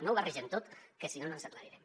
no ho barregem tot que si no no ens aclarirem